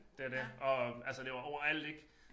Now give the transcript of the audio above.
Det er det og altså det var overalt ik